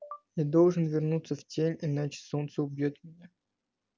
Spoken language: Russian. я должен вернуться в тень иначе солнце убьёт меня